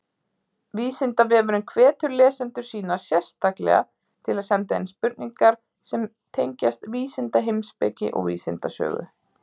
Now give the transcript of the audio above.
Vísindavefurinn hvetur lesendur sína sérstaklega til að senda inn spurningar sem tengjast vísindaheimspeki og vísindasögu.